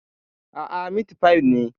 Aa, mitfai ne